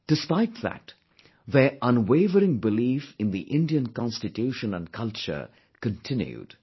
Despite that, their unwavering belief in the Indian Constitution and culture continued